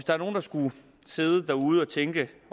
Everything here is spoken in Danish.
er nogen der skulle sidde derude og tænke